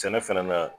Sɛnɛ fɛnɛ na